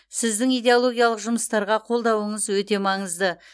сіздің идеологиялық жұмыстарға қолдауыңыз өте маңызды